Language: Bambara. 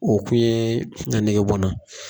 O kun ye a nege bɔ n na.